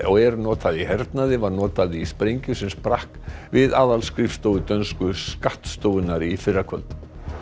og er notað í hernaði var notað í sprengju sem sprakk við aðalskrifstofu dönsku skattstofunnar í fyrrakvöld